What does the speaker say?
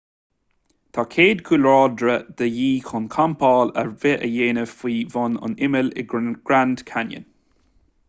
tá cead cúlráide de dhíth chun campáil ar bith a dhéanamh faoi bhun an imill in grand canyon